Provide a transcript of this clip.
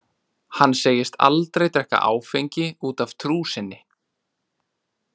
Hann segist aldrei drekka áfengi út af trú sinni.